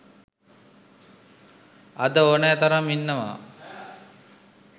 අද ඕනෑ තරම් ඉන්නවා.